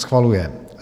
Schvaluje: